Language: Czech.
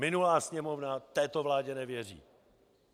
Minulá Sněmovna této vládě nevěří.